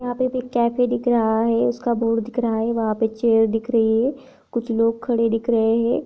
यहाँ पे भी कैफे दिख रहा है उसका बोर्ड दिख रहा है वहाँ पे चेयर दिख रही है कुछ लोग खड़े दिख रहे हैं।